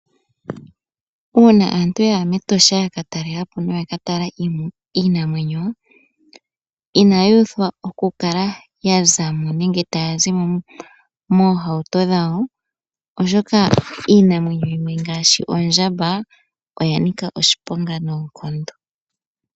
Uuna aantu ya ya mEtosha ya ka talela po noya ka tala iinamwenyo inaya uthwa oku kala ya zamo nenge taya zi mo moohauto dhawo, oshoka iinamwenyo yimwe ngaashi oondjamba oya nika oshiponga noonkondo.